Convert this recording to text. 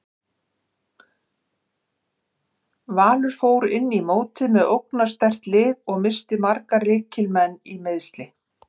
Valur fór inn í mótið með ógnarsterkt lið og missti marga lykil leikmenn í meiðsli.